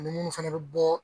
Ani munnu fana bɛ bɔ